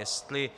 Jestli